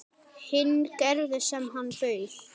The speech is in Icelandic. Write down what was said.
Hinn gerði sem hann bauð.